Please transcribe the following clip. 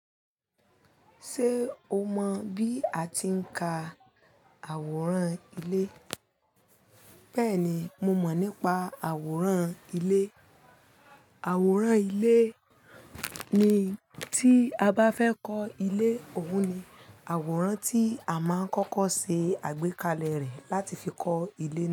Ṣé o mọ bí a ti ń ka àwòrán ilé? Bẹ́ẹ̀ni, mo mọ̀ nípa àwòrán ilé. Àwòrán ilé ni tí a bá fẹ́ kọ́ ilé, òun ni àwòrán tí a máa ń kọ́kọ́ ṣe àgbékalẹ̀ rẹ̀ láti fi kọ́ ilé.